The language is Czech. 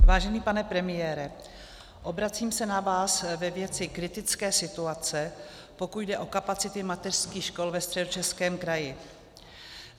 Vážený pane premiére, obracím se na vás ve věci kritické situace, pokud jde o kapacity mateřských škol ve Středočeském kraji.